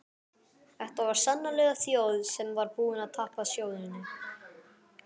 Þetta var sannarlega þjóð sem var búin að tapa sjóninni.